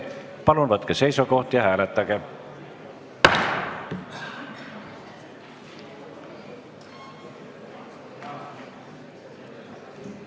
Palun võtke seisukoht ja hääletage!